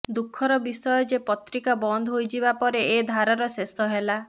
ଦୁଃଖର ବିଷୟ ଯେ ପତ୍ରିକା ବନ୍ଦ ହୋଇଯିବା ପରେ ଏ ଧାରାର ଶେଷ ହେଲା